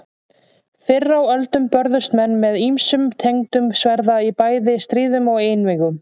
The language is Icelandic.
Fyrr á öldum börðust menn með ýmsum tegundum sverða í bæði stríðum og einvígum.